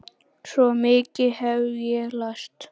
Svo mikið hef ég lært.